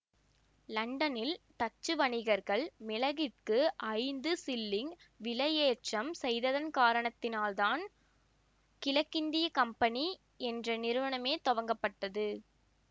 லண்டனில் டச்சு வணிகர்கள் மிளகிற்கு ஐந்து சில்லிங் விலை ஏற்றம் செய்ததன் காரணத்தால் தான் கிழக்கிந்திய கம்பெனி என்ற நிறுவனமே துவங்கப்பட்டது